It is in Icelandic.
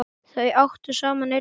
Þau áttu saman einn son.